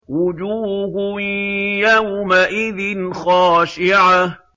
وُجُوهٌ يَوْمَئِذٍ خَاشِعَةٌ